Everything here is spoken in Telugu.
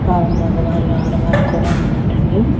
ఆ మగవాళ్ళు ఆడవాళ్లు కూడా ఉన్నారండి.